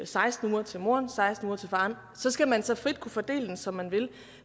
seksten uger til moren og seksten uger til faren så skal man så frit kunne fordele dem som man vil